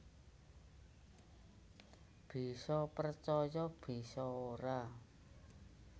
Bisa percaya bisa ora